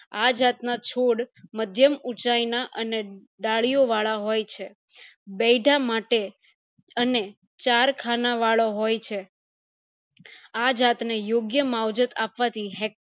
આ જાત ના છોડ માથ્યમ ઉચાય ના અને દળીયો વાળા હોય છે બેઈધા માટે અને ચાર ખાના વાળો હોય છે આ જાત ને યોગ્ય માવજત અપવાથી